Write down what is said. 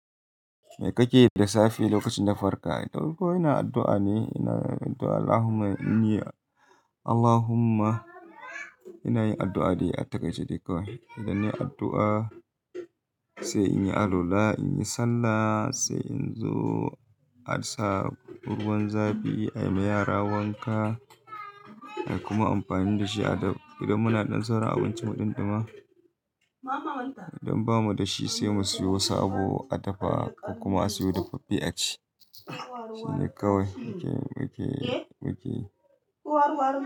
Me kake yi da safe lokacin da farka? To, ko ina addu'a ne, ina addu'a Allahumma in yi Allahumma ina yin addu'a dai a takai ce dai kawai. Idan ne addu'a, sai in yi alula, in yi sallah, sai in zo a sa ruwan zafi a yi ma yara wanka kuma amfani da shi adab. Idan muna ɗan tsaron abincin mu ɗinɗuma, idan bamu da shi sai mu siyo wasu abu a dafa kuma a siyo daffaffe aci. Shi ne kawai muke, muke, muke.